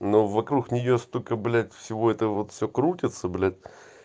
ну вокруг нее столько блять всего это вот все крутится блять